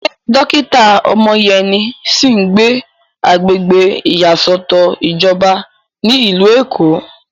Ṣé dókítà Omoyeni sì ń gbé agbègbè ìyàsọ́tọ̀ ìjọba ní ìlú Èkó?